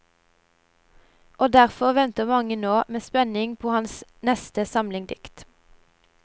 Og derfor venter mange nå medspenning på hans neste samling dikt.